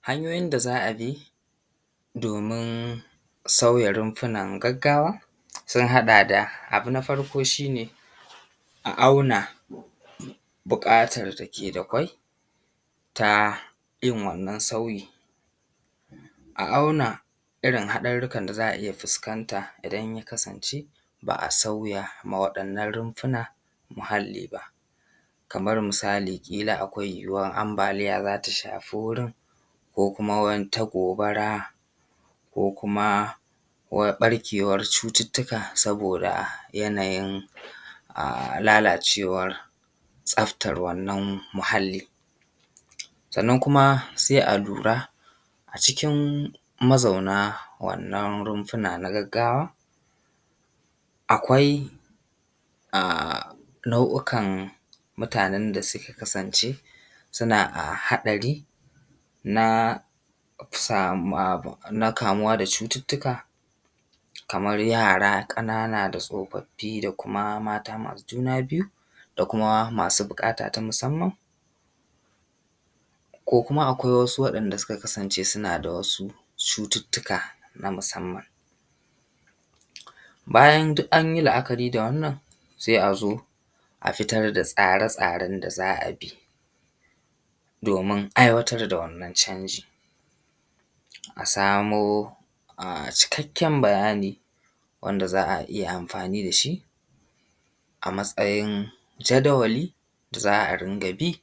Hanyoyin da za a bi domin sauya runfunan gaggawa sun haɗa da, abu na farko shi ne a auna buƙatan da ke da kwai ta yin wannan sauyi, a auna irin haɗarurrukan zaa iya fuskanta idan ya kasance ba a sauya ma waɗannan runfuna muhalli ba. Kaman misali ƙila akwai yuwuwan ambaliya za ta shafi wurin, ko kuma wata gobara, ko kuma ɓarkewar cututtuka saboda yanayin lalacewan tsaftar wannan muhalli. Sannan kuma sai a lura a cikin mazauna wannan runfuna na gaggawa akwai a nau'ukan mutanen da suka kasance suna haɗari na kamuwa da cututtuka kaman yara ƙanana, da tsofaffi, da kuma mata masu juna biyu, da kuma masu buƙata ta musamman. Ko kuma akwai wasu waɗanda suka kasance suna da wasu cututtuka na musamman. Bayan duk anyi la'akari da wannan sai a zo a fitar da tsare tsaren da za a bi domin aiwatar da wannan canji. A samo cikakken bayani wanda za a iya amfani da shi a matsayin jadawali da za a dinga bi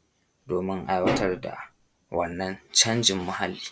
domin aiwatar da wannan canjin muhalli.